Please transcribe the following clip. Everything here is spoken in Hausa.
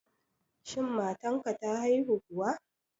Shin matan ka ta haihu kuwa